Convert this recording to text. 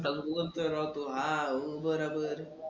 तसंच होतंय राव तो हां बराबर.